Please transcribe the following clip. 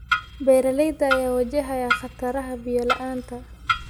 Beeralayda ayaa wajahaya khataraha biyo la�aanta.